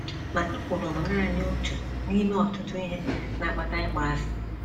Ma ekworo bụ nanị otu n’ime ọtụtụ ihe na - akpata ịkpọasị.